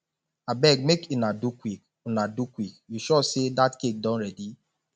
abeg make una do quick una do quick you sure say dat cake don ready